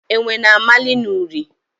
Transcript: Enwe na-amali n’ụrị.